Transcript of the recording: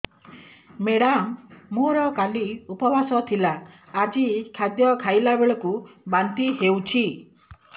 madam ମୋର କାଲି ଉପବାସ ଥିଲା ଆଜି ଖାଦ୍ୟ ଖାଇଲା ବେଳକୁ ବାନ୍ତି ହେଊଛି